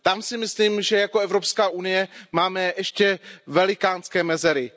Tam si myslím, že jako Evropská unie máme ještě velikánské mezery.